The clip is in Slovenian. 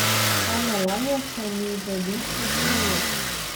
A Melanija se mi v bistvu smili.